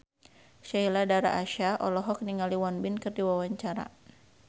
Sheila Dara Aisha olohok ningali Won Bin keur diwawancara